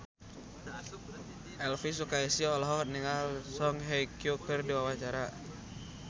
Elvi Sukaesih olohok ningali Song Hye Kyo keur diwawancara